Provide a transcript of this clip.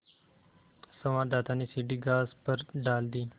संवाददाता ने सीढ़ी घास पर डाल दी